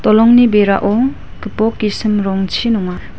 dolongni berao gipok gisim rongchi nonga.